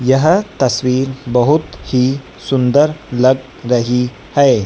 यह तस्वीर बहुत ही सुंदर लग रही है।